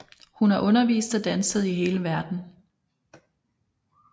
Hun har undervist og danset i hele verdenen